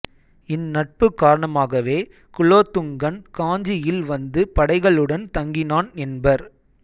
இந் நட்பு காரணமாகவே குலோத்துங்கன் காஞ்சியில் வந்து படைகளுடன் தங்கினான் என்பர்